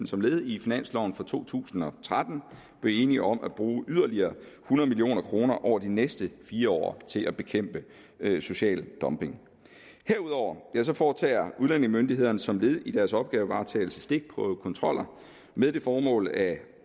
som led i finansloven for to tusind og tretten blev enige om at bruge yderligere hundrede million kroner over de næste fire år til at bekæmpe social dumping herudover foretager udlændingemyndighederne som led i deres opgavevaretagelse stikprøvekontroller med det formål at